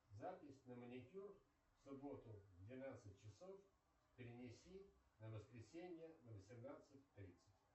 запись на маникюр в субботу в двенадцать часов перенеси на воскресенье на восемнадцать тридцать